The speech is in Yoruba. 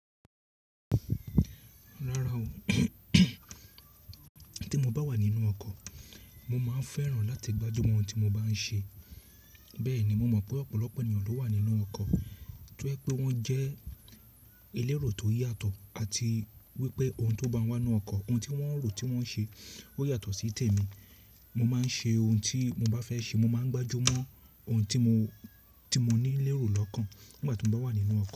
Rárá o, tí mo bá wà nínú ọkọ̀, mo máa ń fẹ́ràn láti gbájú mọ́ ohun tí mo bá ń ṣe. Bẹ́ẹ̀ ni mo mọ̀ pé ọ̀pọ̀lọpọ̀ ènìyàn ló wà nínú ọkọ̀ tó ń jè pé wọ́n jẹ́ elérò tó yàtọ̀ àti wípé ohun tó bá wá nínú ọkọ̀, ohun tí wọ́n ń rò tí wọ́n ń ṣe ó yàtọ̀ sí tèmi. Mo máa ń ṣe ohun tí mo bá fẹ́ ṣe, mo máa ń gbájú mọ́ ohun tí mo, tí mo ní lérò lọ́kàn nígbà tí mo bá wà nínú ọkọ̀